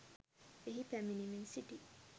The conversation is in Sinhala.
එහි පැමිණෙමින් සිටි